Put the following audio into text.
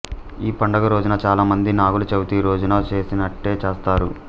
ఈ పండుగ రోజున చాలా మంది నాగుల చవితి రోజున చేసినట్టే చేస్తారు